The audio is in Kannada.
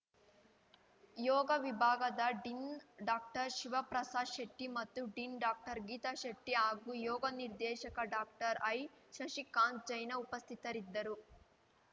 ಯೋಗ ವಿಭಾಗದ ಡಿನ್ ಡಾಕ್ಟರ್ ಶಿವಪ್ರಸಾದ್ ಶೆಟ್ಟಿ ಮತ್ತು ಡಿನ್ ಡಾಕ್ಟರ್ ಗೀತ ಶೆಟ್ಟಿ ಹಾಗೂ ಯೋಗ ನಿರ್ದೇಶಕ ಡಾಕ್ಟರ್ ಐ ಶಶಿಕಾಂತ್ ಜೈನ ಉಪಸ್ಥಿತರಿದ್ದರು